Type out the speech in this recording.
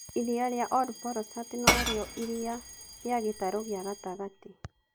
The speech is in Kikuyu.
Iria rĩa Olobolosat no rĩo iria rĩa gĩtarũ kĩa gatagata.